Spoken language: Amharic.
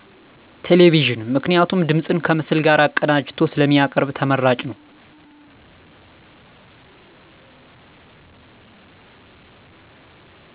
ቴሌቪዥን ምክንያቱም ድምፅን ከምስል ጋር አቀናጅቶ ስለሚያቀርብ ተመራጭ ነው።